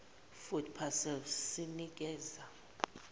food parcels sinekeza